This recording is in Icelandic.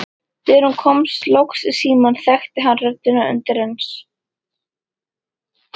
Þegar hún kom loks í símann þekkti hann röddina undireins.